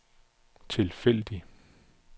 tilfældig